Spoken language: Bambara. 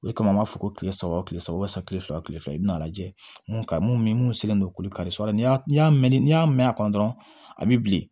O de kama an b'a fɔ ko kile saba o kile saba kile saba kile fila i bɛna a lajɛ mun ka ɲi mun mun senlen don kori kari la n'i y'a n y'a mɛn n'i y'a mɛn a kɔnɔ dɔrɔn a bi bilen